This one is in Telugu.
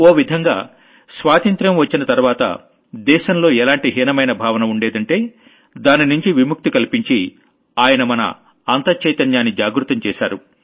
ఓ విధంగా స్వాతంత్ర్యం వచ్చిన తర్వాత దేశంలో ఎలాంటి హీనమైన భావన ఉండేదంటే దాని నుంచి విముక్తి కల్పించి ఆయన మన అంతః చైతన్యాన్ని జాగృతం చేశారు